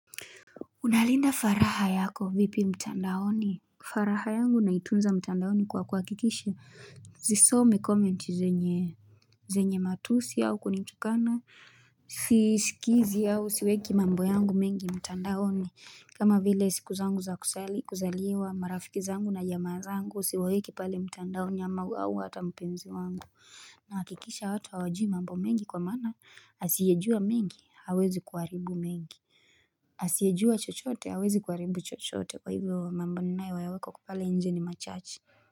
Unalinda faragha yako vipi mtandaoni? Faragha yangu naitunza mtandaoni kwa kuhakikisha. Sisomi commenti zenye matusi au kunitukana. Sisikizi au, siweki mambo yangu mengi mtandaoni. Kama vile siku zangu za kuzaliwa marafiki zangu na jamaa zangu, siwaweki pale mtandaoni ama au hata mpenzi wangu. Nahakikisha hata hawajui mambo mengi kwa mana asiyejua mengi hawezi kuharibu mengi Asiyejua chochote hawezi kuharibu chochote kwa hivyo mambo ninayoyaweka pale nje ni machache.